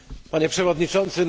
Panie Przewodniczący!